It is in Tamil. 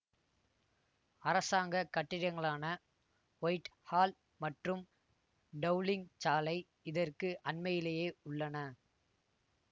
அரசாங்க கட்டிடங்களான வைட் ஹால் மற்றும் டௌளிங் சாலை இதற்கு அண்மையிலேயே உள்ளன